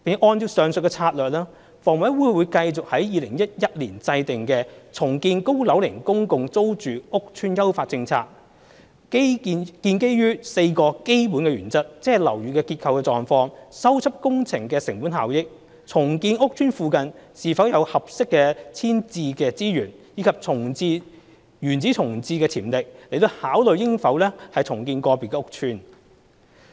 按照上述策略，房委會會繼續按2011年制訂的"重建高樓齡公共租住屋邨的優化政策"，基於4個基本原則，即樓宇的結構狀況、修葺工程的成本效益、重建屋邨附近是否有合適的遷置資源，以及原址重建的潛力，來考慮應否重建個別屋邨。